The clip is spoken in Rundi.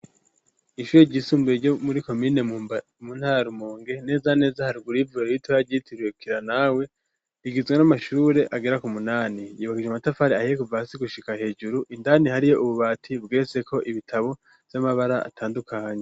Ishure ry'isumbuye ryo muri komine mu ntara ya rumonge neza neza haruguru yivyo biti uravyitikira nawe rigizwe n'amashure agera ku munani yubakishije amatafari ahiye kuva hasi gushika hejuru indani hariyo ububati bwese ko ibitabo vy'amabara atandukanye.